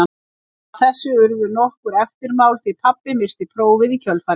Af þessu urðu nokkur eftirmál því pabbi missti prófið í kjölfarið.